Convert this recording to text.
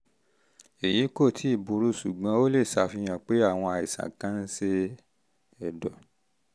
èyí kò tíì burú ṣùgbọ́n ó lè fihàn pé àwọn àìsàn kan àìsàn kan ń ṣe ẹ̀dọ̀